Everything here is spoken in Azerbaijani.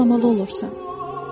sonra ağlamalı olursan.